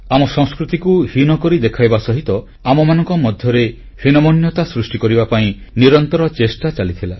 ଆମ ସଂସ୍କୃତିକୁ ହୀନ କରି ଦେଖାଇବା ସହ ଆମମାନଙ୍କ ମଧ୍ୟରେ ହୀନମାନ୍ୟତା ସୃଷ୍ଟି କରିବା ପାଇଁ ନିରନ୍ତର ଚେଷ୍ଟା ଚାଲିଥିଲା